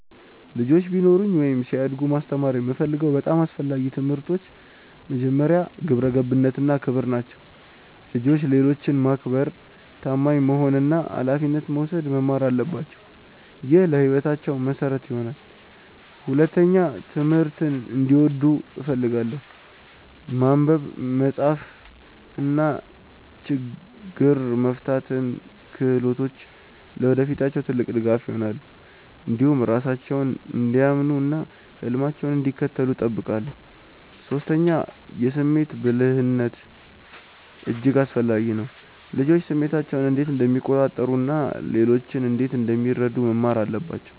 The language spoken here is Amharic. ልጆች ቢኖሩኝ ወይም ሲያድጉ ማስተማር የምፈልገው በጣም አስፈላጊ ትምህርቶች መጀመሪያ፣ ግብረ ገብነት እና ክብር ናቸው። ልጆች ሌሎችን ማክበር፣ ታማኝ መሆን እና ኃላፊነት መውሰድ መማር አለባቸው። ይህ ለሕይወታቸው መሠረት ይሆናል። ሁለተኛ፣ ትምህርትን እንዲወዱ እፈልጋለሁ። ማንበብ፣ መጻፍ እና ችግኝ መፍታት ክህሎቶች ለወደፊታቸው ትልቅ ድጋፍ ይሆናሉ። እንዲሁም ራሳቸውን እንዲያምኑ እና ህልማቸውን እንዲከተሉ እጠብቃለሁ። ሶስተኛ፣ የስሜት ብልህነት እጅግ አስፈላጊ ነው። ልጆች ስሜታቸውን እንዴት እንደሚቆጣጠሩ እና ሌሎችን እንዴት እንደሚረዱ መማር አለባቸው